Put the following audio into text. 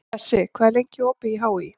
Bessi, hvað er lengi opið í HÍ?